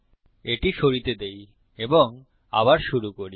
এটি সরিতে দেই এবং আবার শুরু করি